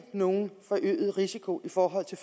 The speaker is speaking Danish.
nogen forøget risiko i forhold til